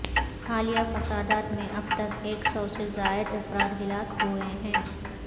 حالیہ فسادات میں اب تک ایک سو سے زائد افراد ہلاک ہوئے ہیں